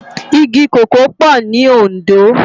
Igi kókòó pò ni Ondo